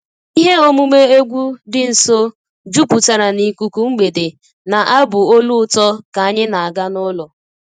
Ihe omume egwu dị nso jupụtara n'ikuku mgbede na abụ olu ụtọ ka anyị na-aga n'ụlọ